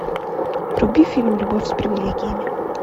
вруби фильм любовь с привилегиями